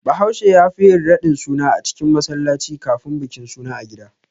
Bahaushe yafi yin radin suna a cikin masallaci kafin bikin suna a gida.